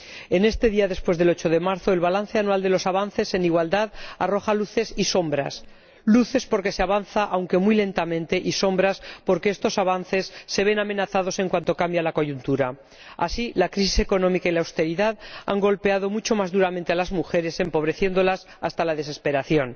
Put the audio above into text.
En este día después del 8 de marzo, el balance anual de los avances en igualdad arroja luces y sombras luces porque se avanza aunque muy lentamente, y sombras porque estos avances se ven amenazados en cuanto cambia la coyuntura. Así, la crisis económica y la austeridad han golpeado mucho más duramente a las mujeres, empobreciéndolas hasta la desesperación.